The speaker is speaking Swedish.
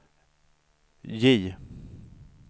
J